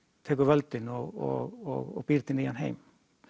tekur völdin og býr til nýjan heim